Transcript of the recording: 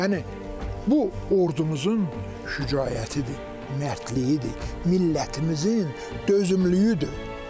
Yəni bu ordumuzun şücaətidir, mərdliyidir, millətimizin dözümlüyüdür.